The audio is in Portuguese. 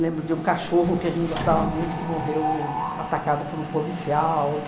Lembro de um cachorro que a gente gostava muito, que morreu atacado por um policial.